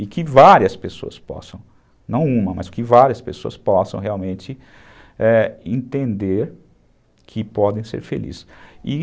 E que várias pessoas possam, não uma, mas que várias pessoas possam realmente, é, entenderem que podem ser felizes.